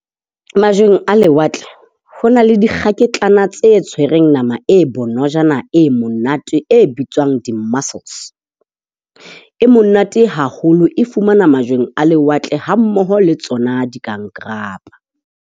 Majweng a lewatle ho na le dikgaketlana tse tshwereng nama e bonojana, e monate, e bitswang di-muscles. E monate haholo, e fumanwa majweng a lewatle hammoho le tsona dikankarapa.